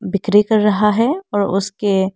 बिक्री कर रहा है और उसके--